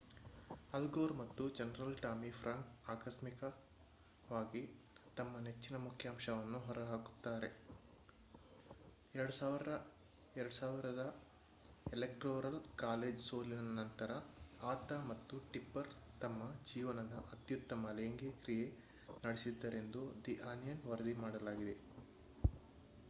ಅಲ್ ಗೋರ್ ಮತ್ತು general Tommy Franks ಆಕಸ್ಮಿಕವಾಗಿ ತಮ್ಮ ನೆಚ್ಚಿನ ಮುಖ್ಯಾಂಶಗಳನ್ನು ಹೊರಹಾಕುತ್ತಾರೆ 2000 ರ ಎಲೆಕ್ಟೋರಲ್ ಕಾಲೇಜ್ ಸೋಲಿನ ನಂತರ ಆತ ಮತ್ತು ಟಿಪ್ಪರ್ ತಮ್ಮ ಜೀವನದ ಅತ್ಯುತ್ತಮ ಲೈಂಗಿ ಕ್ರಿಯೆ ನಡೆಸಿದ್ದರೆಂದು ದಿ ಆನಿಯನ್ ವರದಿ ಮಾಡಿದಾಗ